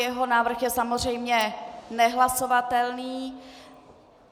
Jeho návrh je samozřejmě nehlasovatelný.